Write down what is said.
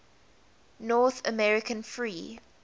north american free